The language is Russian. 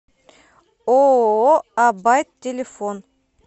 ооо а байт телефон